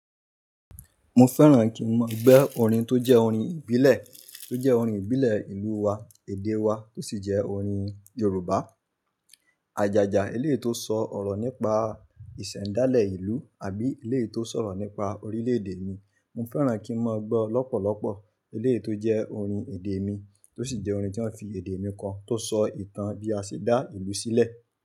Mo fẹ́ràn kí n mọ gbọ́ orin tó jẹ́ orin ìbílẹ̀, tó jẹ́ orin ìbílẹ̀ ìlú wa, èdè wa tó sì jẹ́ orin Yorùbá. Ajaja, eléyìí tó sọ ọ̀rọ̀ nípa ìṣẹ̀dálẹ̀ ìlú àbí eléyìí tó sọ̀rọ̀ nípa orílẹ̀ èdè mi. Mo fẹ́ràn kí n mọ gbọ́ lọ́pọ̀lọ́pọ̀ eléyìí tó jẹ́ orin èdè mi tó sì jẹ́ orin tí wọ́n fi èdè mi kò tó sọ ìtàn bí a ṣe dá ìlú sílẹ̀.